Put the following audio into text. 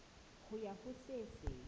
ho ya ho se seng